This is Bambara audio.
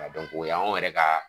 Ka dɔn ko o yanw yɛrɛ ka